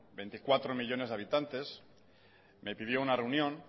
veinticuatro millónes de habitantes me pidió una reunión